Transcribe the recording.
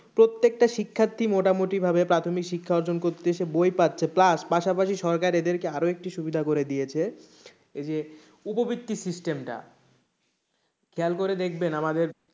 প্রত্যেকটা শিক্ষার্থী মোটামুটিভাবে প্রাথমিক শিক্ষা অর্জন করছে বই পাচ্ছে plus পাশাপাশি সরকার এদেরকে আরও একটা সুবিধা করে দিয়েছে ওই যে উপবৃত্তি system টা খেয়াল করে দেখবেন আমাদের,